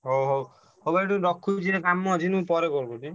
ହଉ ହଉ ହଉ ଭାଇ ଟିକେ ରଖୁଚି ଟିକେ କାମ ଅଛି ମୁଁ ପରେ ନା ନା ମୁଁ ଭାବୁଚି call କରୁଛି।